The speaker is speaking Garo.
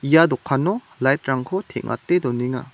ia dokano light-rangko teng·ate donenga.